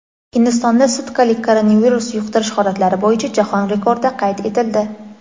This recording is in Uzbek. Hindistonda sutkalik koronavirus yuqtirish holatlari bo‘yicha jahon rekordi qayd etildi.